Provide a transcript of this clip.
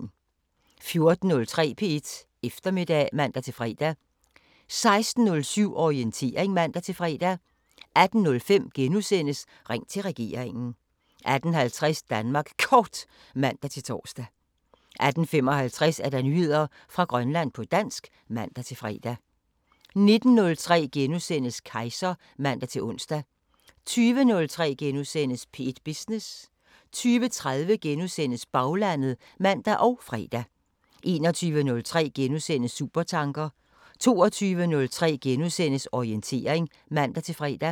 14:03: P1 Eftermiddag (man-fre) 16:07: Orientering (man-fre) 18:05: Ring til regeringen * 18:50: Danmark Kort (man-tor) 18:55: Nyheder fra Grønland på dansk (man-fre) 19:03: Kejser *(man-ons) 20:03: P1 Business * 20:30: Baglandet *(man og fre) 21:03: Supertanker * 22:03: Orientering *(man-fre)